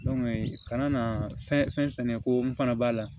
kana na fɛn sɛnɛ ko n fana b'a la